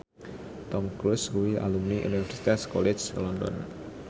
Tom Cruise kuwi alumni Universitas College London